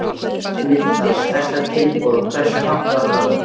Linda: Stærsta tilboðið, hversu hátt var það?